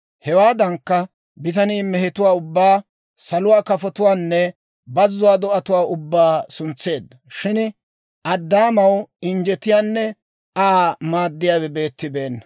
Hewaadan bitanii mehetuwaa ubbaa, saluwaa kafotuwaanne bazuwaa do'atuwaa ubbaa suntseedda; shin Addaamaw injjetiyaanne Aa maaddiyaawe beettibeenna.